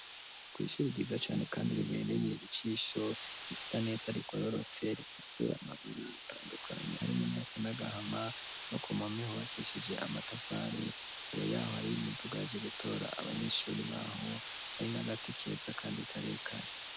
Kw'ishuri ryiza cane, kandi ribereye icisho risa neza rigororotse rifise amabara atandukanyi hari muntu yesanagahama bakumomehe ubakishije amatafari mbere yaho hari imidugayj'ugutora abanyeshuri baho hari na gati keza, kandi karekare.